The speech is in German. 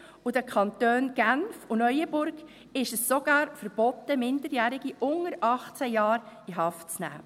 In den Kantonen Genf und Neuenburg ist es sogar verboten, Minderjährige unter 18 Jahren in Haft zu nehmen.